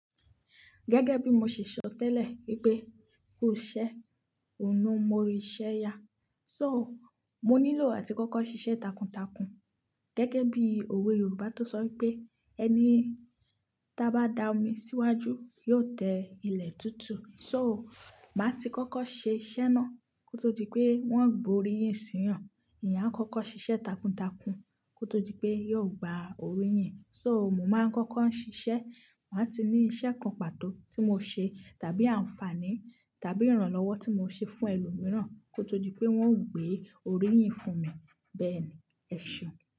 Gẹ́gẹ́ bí mo ṣe sọ tẹ́lẹ̀ pé kò ṣe òórùn mo rí iṣẹ́ ya. So, mo nílò àti kọ́kọ́ ṣiṣẹ́ takuntakun. Gẹ́gẹ́ bí òwe Yorùbá tó sọ pé "ẹni tí a bá dá omi síwájú yóò tẹ ilẹ̀ tútù". So, màá ti kọ́kọ́ ṣe iṣẹ́ náà kó tó di pé wọ́n gbo orí yìn sí yàn. Ìyá kọ́kọ́ ṣiṣẹ́ takuntakun kó tó di pé yóò gba orí yìn. So, mo máa ń kọ́kọ́ ń ṣiṣẹ́, màá ti ní iṣẹ́ kan pàtó tí mo ṣe tàbí àǹfààní tàbí ìrànlọ́wọ́ tí mo ṣe fún ẹlòmíràn kó tó di pé wọ́n ó gbé orí yìn fún mi. Bẹ́ẹ̀ni, ẹ̀ṣeun.